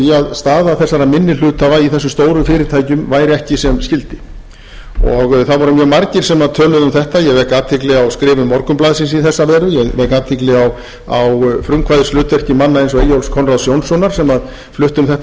staða þessara minni hluthafa í þessum stóru fyrirtækjum væri ekki sem skyldi og það voru mjög margir sem töluðu um þetta ég vek athygli á skrifum morgunblaðsins í þessa veru ég vek athygli á frumkvæðishlutverki manna eins og eyjólfs konráðs jónssonar sem flutti um þetta